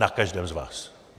Na každém z vás!